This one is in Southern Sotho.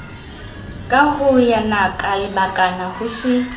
ka yonaka lebakala ho se